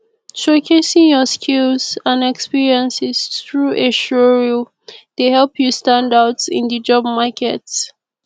showcasing your skills and experiences through a showreel dey help you stand out in di job market